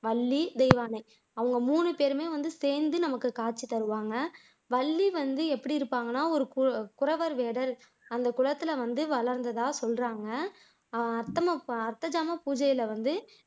வள்ளி, தெய்வானை அவங்க மூணுபேருமே வந்து சேர்ந்து நமக்கு காட்சி தருவாங்க வள்ளி வந்து எப்படி இருப்பாங்கன்னா ஒரு குறவர் இடர் அந்த குளத்துல வந்து வளர்ந்ததா சொல்றாங்க அத்தமஅர்த்தஜாம பூஜை பூஜையில வந்து